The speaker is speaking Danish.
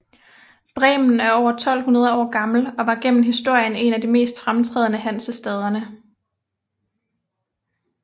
Bremen er over 1200 år gammel og var gennem historien en af de mest fremtrædende af Hansestaderne